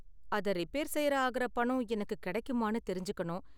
அத ரிப்பேர் செய்ய ஆகுற பணம் எனக்கு கிடைக்குமானு தெரிஞ்சுக்கணும்.